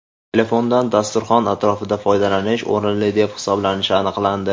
Telefondan dasturxon atrofida foydalanish o‘rinli deb hisoblanishi aniqlandi.